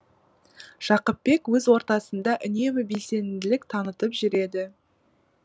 жақыпбек өз ортасында үнемі белсенділік танытып жүреді